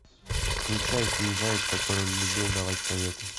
включай фильм заяц который любил давать советы